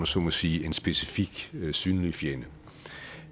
så må sige specifik synlig fjende